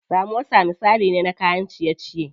Samosa misali ne na kayan ciye ciye.